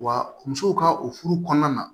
Wa musow ka o furu kɔnɔna na